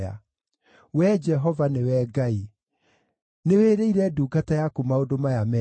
Wee Jehova, nĩwe Ngai! Nĩwĩrĩire ndungata yaku maũndũ maya mega.